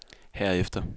herefter